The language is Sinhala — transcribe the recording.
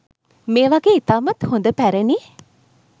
මේ වගේ ඉතාමත් හොඳ පැරණි